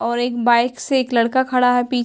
और एक बाइक से एक लड़का खड़ा है पी--